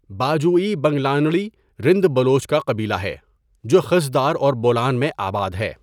باجوئی بنگلانڑی رند بلوچ کا قبیلہ ہے، جو خضدار اور بولان میں آباد ہے.